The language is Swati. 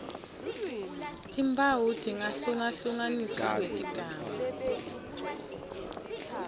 timphawu tingahlungahlukaniswa ngetigaba